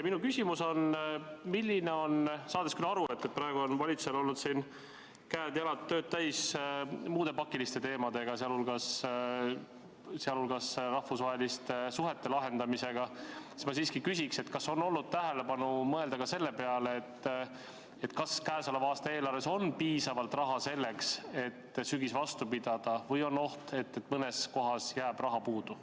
Saades küll aru, et praegu on valitsusel olnud käed-jalad tööd täis muude pakiliste teemadega, sh rahvusvaheliste suhete lahendamisega, ma siiski küsin, kas on olnud aega pöörata tähelepanu ja mõelda ka selle peale, kas käesoleva aasta eelarves on piisavalt raha selleks, et sügis vastu pidada, või on oht, et mõnes kohas jääb raha puudu.